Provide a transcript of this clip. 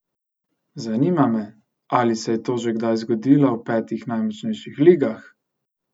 Zanima me, ali se je to že kdaj zgodilo v petih najmočnejših ligah!